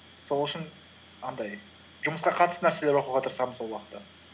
сол үшін андай жұмысқа қатысты нәрселер оқуға тырысамын сол уақытта